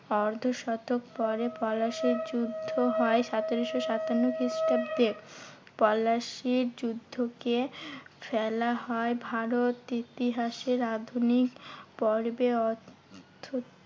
অর্ধ শতক পরে পলাশীর যুদ্ধ হয় সতেরোশো সাতান্ন খ্রিস্টাব্দে। পলাশীর যুদ্ধ কে ফেলা হয় ভারত ইতিহাসের আধুনিক পর্বে অর্থ